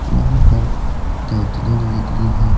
यहां पर कैटरिंग लगी है।